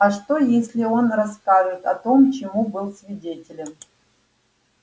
а что если он расскажет о том чему был свидетелем